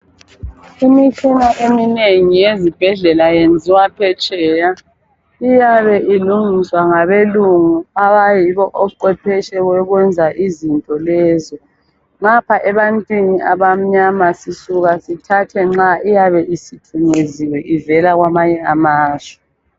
Imitshina eminengi ezibhedlela yenziwa phetsheya, iyabe ilungiswa ngabelungu abayibo oqwephetshe bokwenza izintolezo. Ngapha ebantwini abamnyama sisuka sithathe nxa iyabe isithunyeziwe ivela kwamanye amazwe.